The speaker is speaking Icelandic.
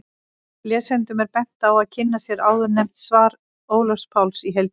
Lesendum er bent á að kynna sér áðurnefnt svar Ólafs Páls í heild sinni.